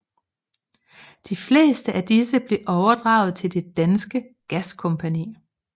De fleste af disse blev overdraget til Det Danske Gaskompagni